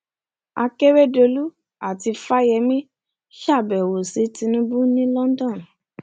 akèrèdòlù àti fáyemí ṣàbẹwò sí tinubu ní london